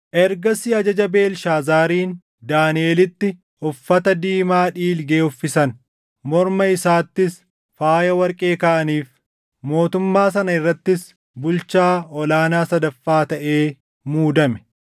Ergasii ajaja Beelshaazaariin Daaniʼelitti uffata diimaa dhiilgee uffisan; morma isaattis faaya warqee kaaʼaniif; mootummaa sana irrattis bulchaa ol aanaa sadaffaa taʼee muudame.